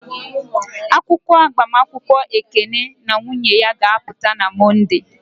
Akwụkwọ agbamakwụkwọ Ekene na nwunye ya ga-apụta na Mọnde.